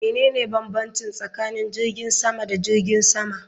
Menene bambanci tsakanin jirgin sama da jirgin sama?